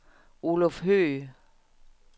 Oluf Høgh